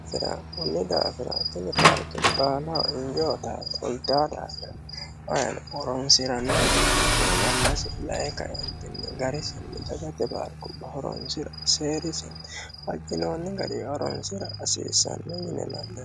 Iserra kunni daafira tinni paarike baalaho inijo uyittate hunita daafira ayino horonisiranohu heeriha ikkiro yannasi dayi kaenitini garisinni daggate paarikubba horonisira seerisinni fajjinonni garinni horonisira hasisanno yine la'nanni